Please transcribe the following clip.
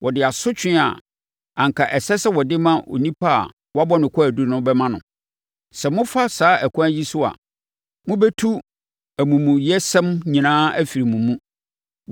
wɔde asotwe a anka ɛsɛ sɛ wɔde ma onipa a wɔabɔ no kwaadu no bɛma no. Sɛ mofa saa ɛkwan yi so a, mobɛtu amumuyɛsɛm nyinaa afiri mo mu.